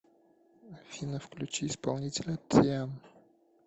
афина включи исполнителя тиан